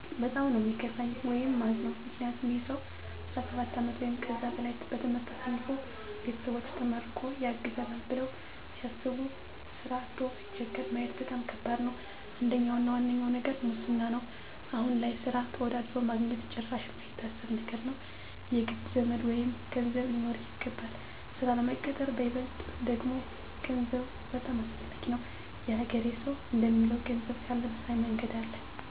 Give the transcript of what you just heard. በጣም ነው ሚከፋኝ ወይም ማዝነው ምክንያቱም ይህ ሰው 17 አመት ወይም ከዛ በላይ በትምህርት አሳልፎ ቤተሰቦቹ ተመርቆ ያግዘናል ብለው ሲያስቡ ስራ አቶ ሲቸገር ማየት በጣም ከባድ ነው። አንደኛው እና ዋነኛው ነገር ሙስና ነው አሁን ላይ ስራ ተወዳድሮ ማግኜት ጭራሽ ማይታሰብ ነገር ነው። የግድ ዘመድ ወይም ገንዘብ ሊኖርህ ይገባል ስራ ለመቀጠር በይበልጥ ደግሞ ገንዘብ በጣም አሰፈላጊ ነው። የሀገሬ ሰው እንደሚለው ገንዘብ ካለ በሰማይ መንገድ አለ።